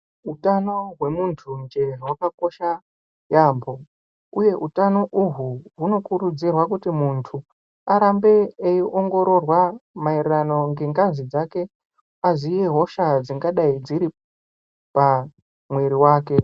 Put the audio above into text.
Utano hwemuntunje hwakakosha yambo uye utano uhwu hunokurudzirwe kuti muntu arambe eiongororwa maererano ngengazi dzake aziye hosha dzingadai dziri pamwiri wake.